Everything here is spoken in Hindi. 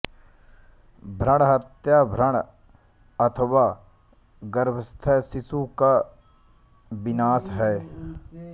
भ्रूणहत्या भ्रूण अथवा गर्भस्थ शिशु का विनाश है